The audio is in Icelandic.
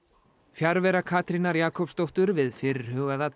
fjarvera Katrínar Jakobsdóttur við fyrirhugaða